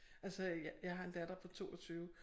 Altså jeg har en datter på 22